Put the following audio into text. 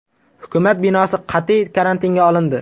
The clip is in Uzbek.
Hukumat binosi qat’iy karantinga olindi.